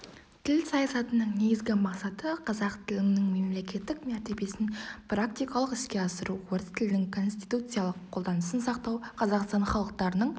тіл саясатының негізгі мақсаты қазақ тілінің мемлекеттік мәртебесін практикалық іске асыру орыс тілінің конституциялық қолданысын сақтау қазақстан халықтарының